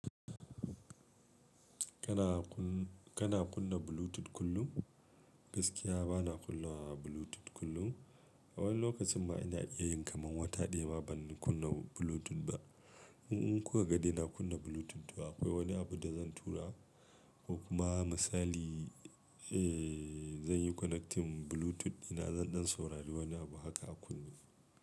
Kana kunna Bluetooth kullum? Gaskiya bana kunna Bluetooth kullum. A wani lokacin ma ina iya yin kaman wata ɗaya ba zan kunna Bluetooth ba. In kuka ga de na kunna Bluetooth, to akwai wani abu da zan tura, ko kuma misali, eh, zan yi connecting Bluetooth dina zan ɗan saurari wani abu haka a kunne.